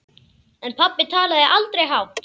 En pabbi talaði aldrei hátt.